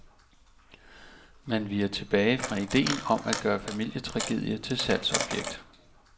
Man viger tilbage fra ideen om at gøre familietragedie til salgsobjekt.